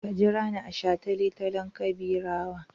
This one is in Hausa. Ka jira ni a shataletalen Gobirawa!